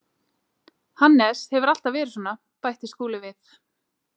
Hannes hefur alltaf verið svona, bætti Skúli við.